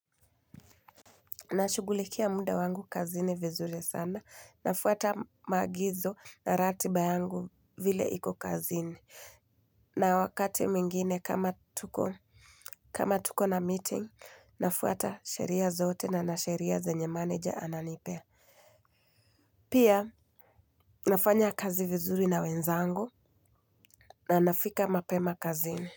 Nashugulikia muda wangu kazini vizuri sana nafuata maagizo na ratiba yangu vile iko kazini na wakati mwingine kama tuko na meeting nafuata sheria zote na na sheria zenye manager ananipea. Pia nafanya kazi vizuri na wenzangu na nafika mapema kazini.